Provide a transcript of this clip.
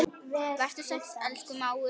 Vertu sæll, elsku mágur.